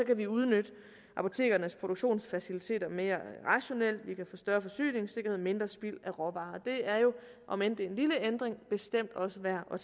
kan vi udnytte apotekernes produktionsfaciliteter mere rationelt vi kan få større forsyningssikkerhed og mindre spild af råvarer omend det er en lille ændring er bestemt også værd at